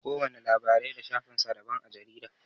Kowana labarai da shafin sa daban a jarida.